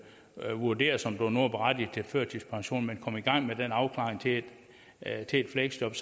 vurderes om du nu er berettiget til førtidspension man kom i gang med den afklaring til et fleksjob